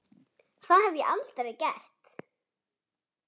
Það hef ég aldrei gert.